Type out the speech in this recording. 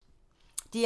DR1